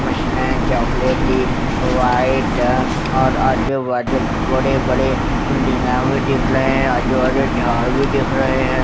Machine है चॉकलेटी white और आजू बाजू बड़े बड़े बिल्डिगा भी दिख रहे है आजू बाजू झाड़ भी दिख रहे है।